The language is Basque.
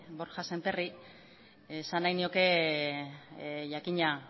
borja sémperri esan nahi nioke jakina